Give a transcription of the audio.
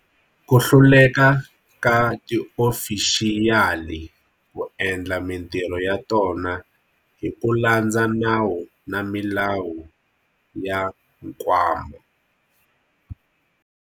Ku hluleka ka tiofixiyali ku endla mitirho ya tona hi ku landza nawu na milawu ya Nkwama.